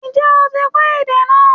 Ǹjẹ́ o ti kọ́ èdè náà